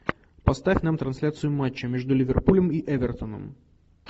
поставь нам трансляцию матча между ливерпулем и эвертоном